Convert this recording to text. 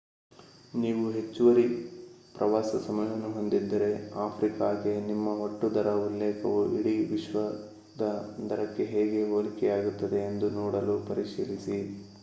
ನೀವು ಹೆಚ್ಚುವರಿ ಪ್ರವಾಸ ಸಮಯವನ್ನು ಹೊಂದಿದ್ದರೆ ಆಫ್ರಿಕಾಗೆ ನಿಮ್ಮ ಒಟ್ಟು ದರ ಉಲ್ಲೇಖವು ಇಡೀ ವಿಶ್ವದ ದರಕ್ಕೆ ಹೇಗೆ ಹೋಲಿಕೆಯಾಗುತ್ತದೆ ಎಂದು ನೋಡಲು ಪರಿಶೀಲಿಸಿ